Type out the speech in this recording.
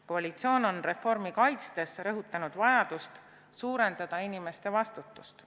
Koalitsioon on reformi kaitstes rõhutanud vajadust suurendada inimeste vastutust.